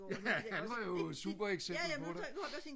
ja han var jo et super eksempelt på det